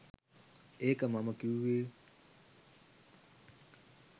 ඒක මම කිව්වෙ.